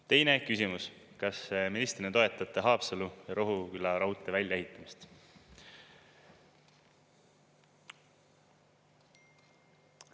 Teine küsimus: kas ministrina toetate Haapsalu ja Rohuküla raudtee väljaehitamist?